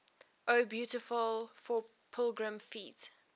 o beautiful for pilgrim feet